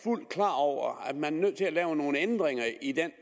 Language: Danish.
ud klar over at man er nødt til at lave nogle ændringer i den